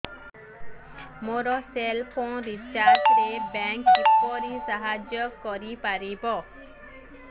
ମୋ cell phone recharge ରେ bank କିପରି ସାହାଯ୍ୟ କରିପାରିବ